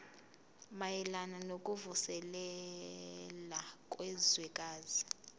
mayelana nokuvuselela kwezwekazi